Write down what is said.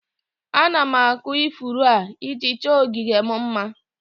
Ana m akụ ifuru a, iji chọọ ogige m mma